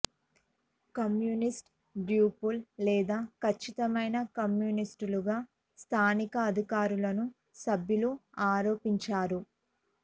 communist డ్యూప్లు లేదా ఖచ్చితమైన కమ్యూనిస్టులుగా స్థానిక అధికారులను సభ్యులు ఆరోపించారు